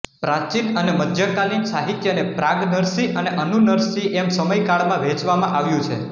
પ્રાચીન અને મધ્યકાલીન સાહિત્યને પ્રાગ નરસિંહ અને અનુ નરસિંહ એમ સમયકાળમાં વહેંચવામાં આવ્યું છે